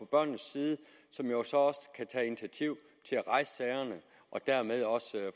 børnenes side og som jo så også kan tage initiativ til at rejse sagerne og dermed også